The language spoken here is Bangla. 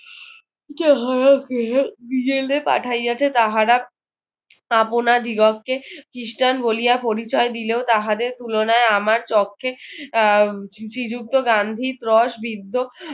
যাহাকে জেলে পাঠাইয়াছে তাহারা আপনা দ্বিগকে খ্রিষ্টান বলিয়া পরিচয় দিলেও তাহাদের তুলনায় আমার চক্ষে আহ শ্রীযুক্ত গান্ধীৰ রস বিদ্দ্য